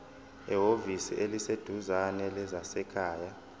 ehhovisi eliseduzane lezasekhaya